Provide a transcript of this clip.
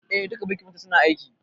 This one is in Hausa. Eh, duka birkin motar suna aiki